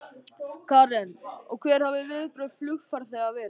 Karen: Og hver hafa viðbrögð flugfarþega verið?